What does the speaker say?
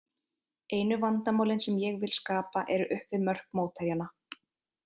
Einu vandamálin sem ég vil skapa eru upp við mörk mótherjanna.